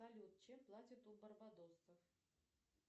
салют чем платят у барбадосцев